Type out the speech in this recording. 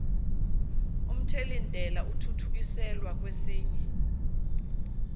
omthelintela athuthukiselwa kwesinye